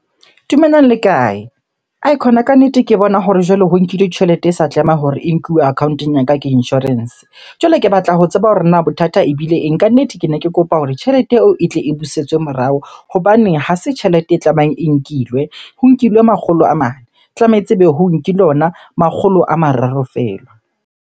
Dumelang, le kae? Aikhona kannete, ke bona hore jwale ho nkilwe tjhelete e sa tlameha hore e nkuwe account-ong ya ka ke insurance. Jwale ke batla ho tseba hore na bothata ebile eng? Kannete kene ke kopa hore tjhelete eo e tle e busetswe morao hobane ha se tjhelete e tlamehang e nkilwe. Ho nkilwe makgolo a mane, tlametse ebe ho nkilwe ona makgolo a mararo feela.